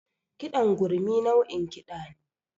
Kiɗan gurmi nau'in kiɗa ne